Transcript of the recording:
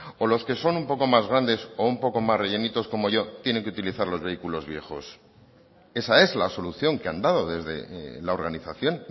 o los que son un poco más grandes o un poco más rellenitos como yo tienen que utilizar los vehículos viejos esa es la solución que han dado desde la organización